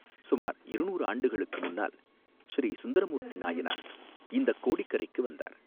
சுமார் இருநூறு ஆண்டுகளுக்கு முன்னால் ஸ்ரீசுந்தர மூர்த்தி நாயனார் இந்தக் கோடிக் கரைக்கு வந்தார்.